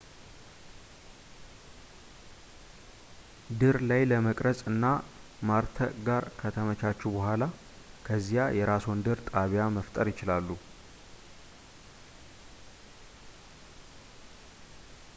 ድር ላይ መቅረፅ እና ማርተዕ ጋር ከተመቻቹ በኋላ ከዚያ የራስዎን ድር ጣቢያ መፍጠር ይችላሉ